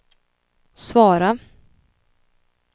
svara